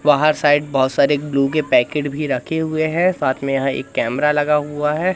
बाहर साइड बहोत सारे ग्लू के पैकेट भी रखे हुए हैं साथ में यहां एक कैमरा लगा हुआ है।